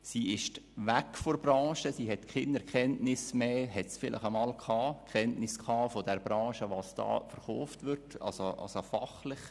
Sie war weg von der Branche und hatte keine Fachkenntnisse mehr.